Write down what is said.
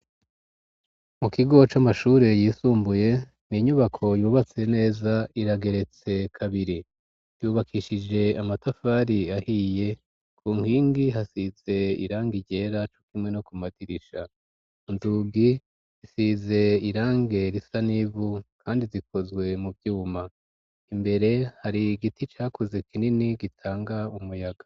Mu kigo c'amashure yisumbuye, inyubako yubatse neza itageretse kabiri, yubakishije amatafari ahiye, ku nkingi hasize irangi ryera hamwe no ku madirisha. Inzugi zisize irangi risa n'ivu Kandi zikozwe mu vyuma. Imbere har'igiti kinini cakoze gitanga umuyaga.